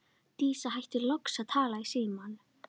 Dísa hættir loks að tala í símann.